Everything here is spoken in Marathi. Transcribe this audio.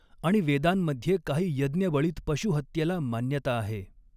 आणि वेदांमध्ये काही यज्ञबळीत पशु हत्येला मान्यता आहे.